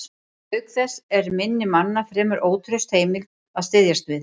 Auk þess er minni manna fremur ótraust heimild að styðjast við.